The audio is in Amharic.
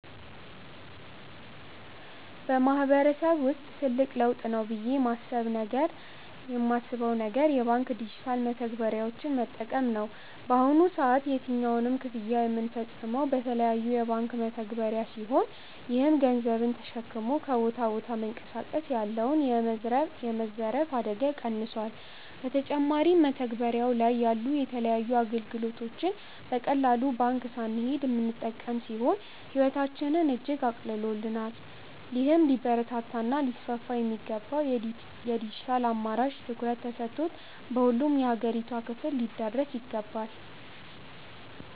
በማህበረሰብ ውስጥ ትልቅ ለውጥ ነው ብዬ ማስብ ነገር የባንክ ዲጂታል መተግበሪያዎችን መጠቀም ነው። በአሁኑ ሰዓት የትኛውንም ክፍያ ምንፈጽመው በተለያዩ የባንክ መተግባሪያ ሲሆን ይህም ገንዘብን ተሸክሞ ከቦታ ቦታ መንቀሳቀስ ያለውን የመዘረፍ አደጋ ቀንሶል። በተጨማሪም መተግበሪያው ላይ ያሉ የተለያዩ አገልግሎቶችን በቀላሉ ባንክ ሳንሄድ ምንጠቀም ሲሆን ህይወታችንን እጅግ አቅልሎልናል። ይህም ሊበረታታ እና ሊስፋፋ የሚገባው የድጅታል አማራጭ ትኩረት ተሰጥቶበት በሁሉም የአገሪቷ ክፍል ሊዳረስ ይገባል።